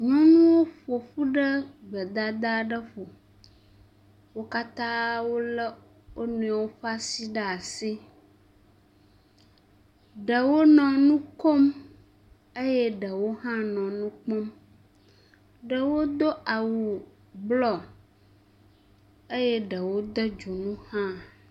Nyɔnuwo ƒoƒu ɖe gbedada ɖe ƒo. wo katã wolé wo nɔewo ƒe asi ɖe asi. Ɖewo nɔ nu kom eye ɖewo hã nɔ nu kpɔm. Ɖewo do awu blɔ eye ɖewo de dzonu hã.